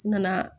N nana